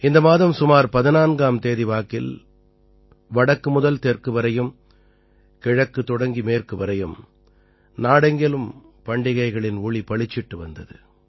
இந்த மாதம் சுமார் 14ஆம் தேதி வாக்கில் வடக்கு முதல் தெற்கு வரையும் கிழக்குத் தொடங்கி மேற்கு வரையும் நாடெங்கிலும் பண்டிகைகளின் ஒளி பளிச்சிட்டு வந்தது